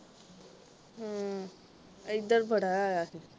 ਹੂ ਏਧਰ ਬੜਾ ਆਇਆ ਸੀ